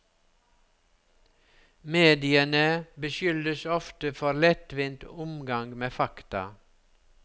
Mediene beskyldes ofte for lettvint omgang med fakta.